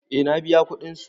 Eh na biya kudin su.